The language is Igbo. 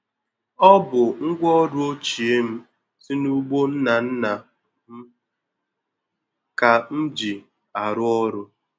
Ọ bụ ngwaọrụ ochie m si n'ugbo nna nna m ka m ji arụ ọrụ.